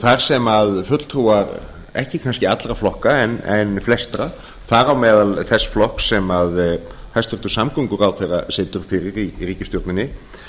þar sem fulltrúar ekki kannski allra flokka en flestra þar á meðal þess flokks sem hæstvirtur samgönguráðherra situr fyrir í ríkisstjórninni